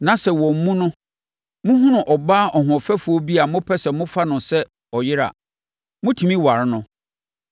na sɛ wɔn mu no, mohunu ɔbaa ɔhoɔfɛfoɔ bi a mopɛ sɛ mofa no sɛ ɔyere a, motumi ware no.